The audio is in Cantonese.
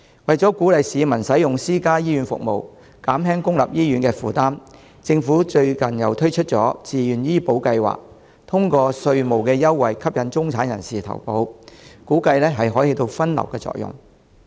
為鼓勵市民使用私家醫院服務，減輕公立醫院的負擔，政府最近推出自願醫保計劃，通過稅務優惠吸引中產人士投保，估計可起分流作用。